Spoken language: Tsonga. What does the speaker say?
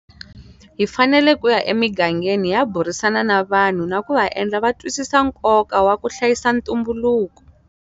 Hi fanele ku ya emigangeni hi ya burisana na vanhu na ku va endla va twisisa nkoka wa ku hlayisa ntumbuluko.